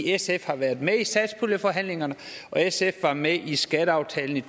sf har været med i satspuljeforhandlingerne og sf var med i skatteaftalen i